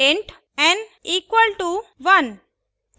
int n equalto 1